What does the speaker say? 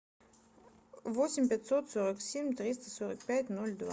восемь пятьсот сорок семь триста сорок пять ноль два